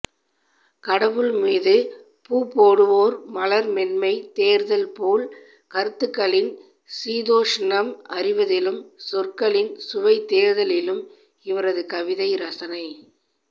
கடவுள்மீது பூப்போடுவோர் மலர் மென்மை தேர்தல்போல் கருத்துகளின் சீதோஷ்ணம் அறிவதிலும் சொற்களின் சுவை தேர்தலிலும் இவரது கவிதை ரசனை